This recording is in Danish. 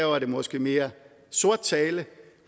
var det måske mere sort tale